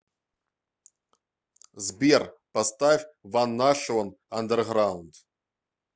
сбер поставь ван нашион андерграунд